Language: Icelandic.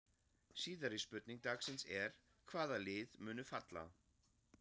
Síðari spurning dagsins er: Hvaða lið munu falla?